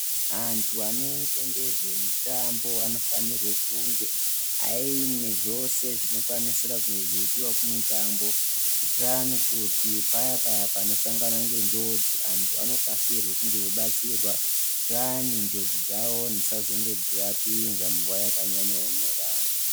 Antu anoita ngezvemitambo anofanirwe kunge ,,aine zvose zvinokwanisira kunge zveidiwa kumitambo, kuitira kuti payapaya panosanganwa ngenjodzi ,antu aya anokasirwe kunge eibatsirwa, kuitira vayani njodzi dzavo dzisazonyanye dzeivavapinza munguva yakanyanyoomarara.